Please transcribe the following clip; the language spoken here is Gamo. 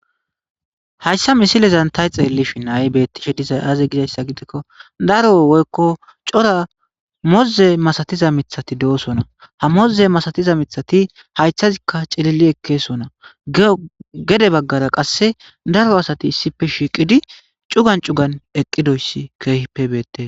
Hayssa misilezan tay xeellishi naayi beettishe dizay aaze gidayssa gidekko daro woykko cora moze masatiza mithati de7osona ha moze masatiza mithati haythazikka cilili ekkeesona gede baggara qasse daro asati issife shiiqidi cugan cugan eqqidoyssi keehippe beette.